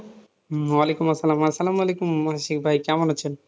উম ওলাইকুম আসসালাম আসসালাম ওয়ালেকুম মহসিন ভাই, কেমন আছেন?